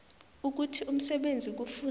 ukuthi umsebenzi kufuze